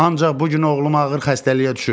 Ancaq bu gün oğlum ağır xəstəliyə düşüb.